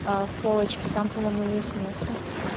а в полочки там по-моему есть место